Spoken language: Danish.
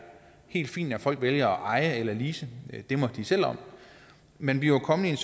helt fint at folk vælger at eje eller lease det må de selv om men vi var kommet i en